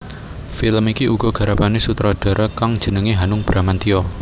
Film iki uga garapané sutradara kang jenengé Hanung Bramantyo